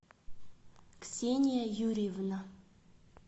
ксения юрьевна